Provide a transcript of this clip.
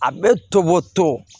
A bɛ toboto